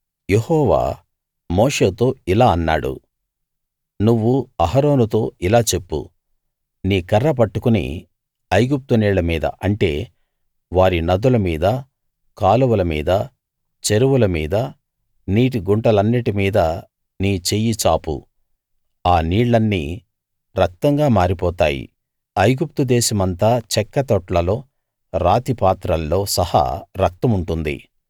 యెహోవా మోషేతో ఇలా అన్నాడు నువ్వు అహరోనుతో ఇలా చెప్పు నీ కర్ర పట్టుకుని ఐగుప్తు నీళ్ళ మీద అంటే వారి నదుల మీద కాలువల మీద చెరువుల మీద నీటి గుంటలన్నిటి మీదా నీ చెయ్యి చాపు ఆ నీళ్ళన్నీ రక్తంగా మారిపోతాయి ఐగుప్తు దేశమంతా చెక్క తొట్లలో రాతి పాత్రల్లో సహా రక్తం ఉంటుంది